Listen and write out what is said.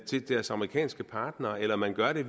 til deres amerikanske partnere eller at man gør det